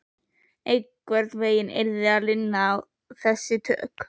Einhvern veginn yrði að lina þessi tök